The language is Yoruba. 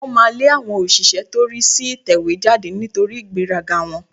Wọ́n máa lé àwọn òṣìṣẹ́ tó rí sí ìtẹ̀wéjáde nítorí ìgbéraga wọn